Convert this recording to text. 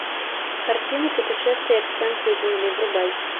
картина путешествие к центру земли врубай